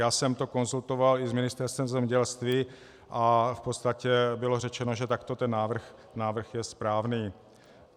Já jsem to konzultoval i s Ministerstvem zemědělství a v podstatě bylo řečeno, že takto ten návrh je správný.